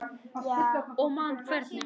Og man hvernig